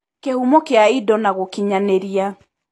Kĩhumo kĩa indo na gũkinyanĩria.